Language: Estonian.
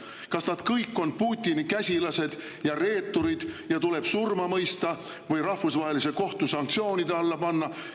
Kas nad kõik on Putini käsilased ja reeturid ja tuleb surma mõista või rahvusvahelise kohtu sanktsioonide alla panna?